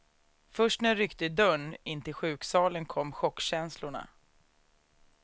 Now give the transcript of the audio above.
Först när jag ryckte i dörren in till sjuksalen kom chockkänslorna.